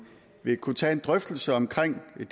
vil kunne tage en drøftelse omkring det